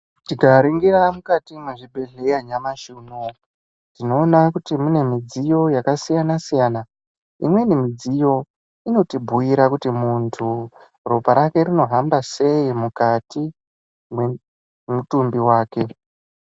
Tikaringira mukati mezvibhedhleya nyamashe uno uwu, tinowona kuti munemidziyo yakasiyana siyana. Imweni midziyo, inotibuyira kuti muntu ropa rake rinohamba seyi mukati memutumbi wake.